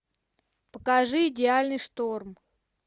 покажи идеальный шторм